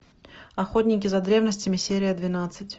охотники за древностями серия двенадцать